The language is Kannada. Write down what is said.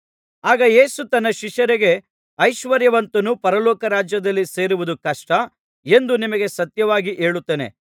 ಆಗ ಯೇಸು ತನ್ನ ಶಿಷ್ಯರಿಗೆ ಐಶ್ವರ್ಯವಂತನು ಪರಲೋಕ ರಾಜ್ಯದಲ್ಲಿ ಸೇರುವುದು ಕಷ್ಟ ಎಂದು ನಿಮಗೆ ಸತ್ಯವಾಗಿ ಹೇಳುತ್ತೇನೆ